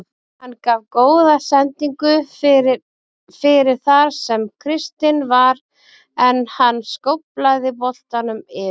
Hann gaf góða sendingu fyrir fyrir þar sem Kristinn var en hann skóflaði boltanum yfir.